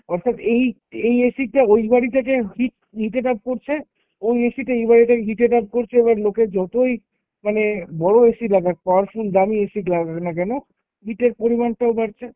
অর্থাৎ, এই এই AC টা ওই বাড়ি থেকে heat নিতে কাজ করছে, ওইAC টা এই বাড়িতে heat এ কাজ করছে। এবার লোকের যতই মানে বড়ো AC লাগাক, powerful দামি AC লাগাক না কেন heat এর পরিমানটাও বাড়ছে।